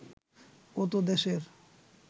ও তো দেশের